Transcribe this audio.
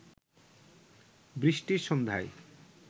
বৃষ্টির সন্ধ্যায়